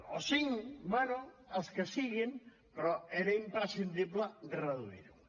o cinc bé els que siguin però era imprescindible reduir ho